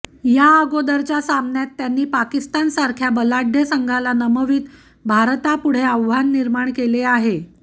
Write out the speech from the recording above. या अगोदरच्या सामन्यात त्यांनी पाकिस्तान सारख्या बलाढ्य संघाला नमवित भारता पुढे आव्हान निर्माण केले आहे